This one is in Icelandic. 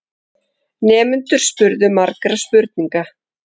Nemendurnir spurðu margra spurninga.